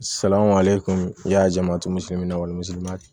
ale tun i y'a jama to misi wa